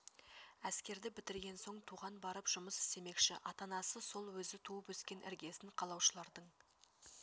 әскерді бітірген соң туған барып жұмыс істемекші ата-анасы сол өзі туып-өскен іргесн қалаушылардың